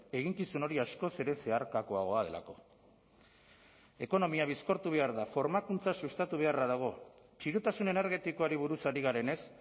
eginkizun hori askoz ere zeharkakoagoa delako ekonomia bizkortu behar da formakuntza sustatu beharra dago txirotasun energetikoari buruz ari garenez